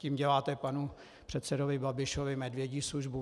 Tím děláte panu předsedovi Babišovi medvědí službu.